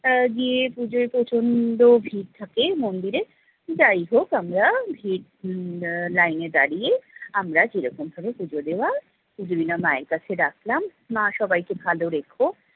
আহ গিয়ে পুজোয় প্রচন্ড ভিড় থাকে মন্দিরে। যাইহোক আমরা ভিড় উম line এ দাঁড়িয়ে আমরা যেরকম করে পুজো দেবার পুজো দিলাম মায়ের কাছে রাখলাম, মা সবাইকে ভালো রেখো।